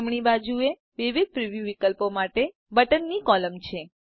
જમણી બાજુએ વિવિધ પ્રિવ્યુ વિકલ્પો માટે બટનની કૉલમ છે